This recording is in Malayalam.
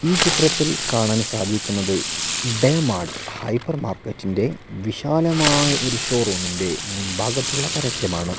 ഈ ചിത്രത്തിൽ കാണാൻ സാധിക്കുന്നത് ഡേ മാർട്ട് ഹൈപ്പർ മാർക്കറ്റിന്റെ വിശാലമായ ഒരു ഷോറൂമിന്റെ മുൻ ഭാഗത്തുള്ള പരസ്യമാണ്.